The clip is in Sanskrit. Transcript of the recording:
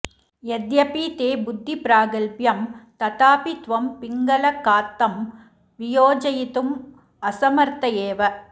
यद्यपि ते बुद्धिप्रागल्भ्यं तथापि त्वं पिङ्गलकात्तं वियोजयितुमसमर्थ एव